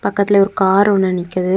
பக்கத்துல ஒரு கார் ஒன்னு நிக்குது.